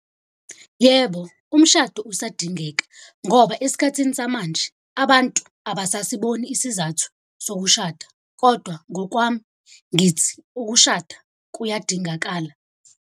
Yebo, umshado usadingeka ngoba esikhathini samanje abantu abasasiboni isizathu sokushada. Kodwa ngokwami ngithi ukushada kuyadingakala.